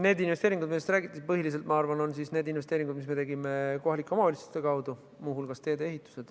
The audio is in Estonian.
Need investeeringud, millest te räägite, ma arvan, on põhiliselt need investeeringud, mis me tegime kohalike omavalitsuste kaudu, muu hulgas teedeehitusse.